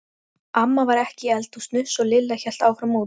Amma var ekki í eldhúsinu svo Lilla hélt áfram út.